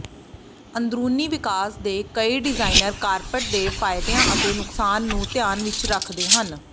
ਅੰਦਰੂਨੀ ਵਿਕਾਸ ਦੇ ਕਈ ਡਿਜ਼ਾਇਨਰ ਕਾਰਪੈਟ ਦੇ ਫਾਇਦਿਆਂ ਅਤੇ ਨੁਕਸਾਨਾਂ ਨੂੰ ਧਿਆਨ ਵਿਚ ਰੱਖਦੇ ਹਨ